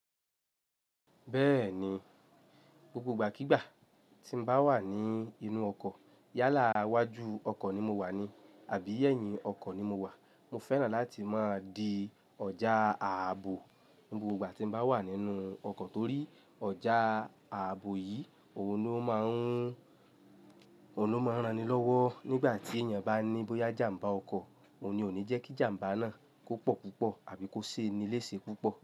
Bẹ́ẹ̀ni, gbogbo ìgbàkígbà tí mo bá wà ní inú ọkọ̀, yálà iwájú ọkọ̀ ni mo wà ní àbí ẹ̀yìn ọkọ̀ ni mo wà, mo fẹ́ràn láti máa di ọjà ààbò ní gbogbo ìgbà tí mo bá wà nínú ọkọ̀ torí ọjà ààbò yìí òun ló máa ń, òun ló máa ń rani lọ́wọ́ nígbà tí èèyàn bá ní bóyá ìjàmbá ọkọ̀, òun ni òní jẹ́ kí ìjàmbá náà kó pọ̀ púpọ̀ àbí kó ṣe nilé ṣe púpọ̀